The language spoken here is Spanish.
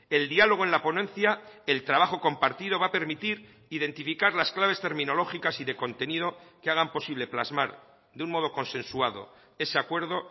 el diálogo en la ponencia el trabajo compartido va a permitir identificar las claves terminológicas y de contenido que hagan posible plasmar de un modo consensuado ese acuerdo